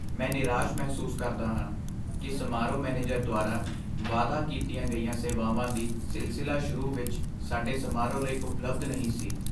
ਮੈਂ ਨਿਰਾਸ਼ ਮਹਿਸੂਸ ਕਰਦਾ ਹਾਂ ਕਿ ਸਮਾਰੋਹ ਮੈਨੇਜਰ ਦੁਆਰਾ ਵਾਅਦਾ ਕੀਤੀਆਂ ਗਈਆਂ ਸੇਵਾਵਾਂ ਦੀ ਸਿਲਸਿਲਾ ਸ਼ੁਰੂ ਵਿੱਚ ਸਾਡੇ ਸਮਾਰੋਹ ਲਈ ਉਪਲਬਧ ਨਹੀਂ ਸੀ।